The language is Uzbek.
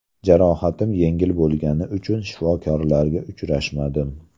Jarohatim yengil bo‘lgani uchun shifokorlarga uchrashmadim.